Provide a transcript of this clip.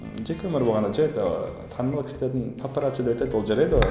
ы жеке өмір болғанда жай ол танымал кісілердің паппарация деп айтады ол жарайды ғой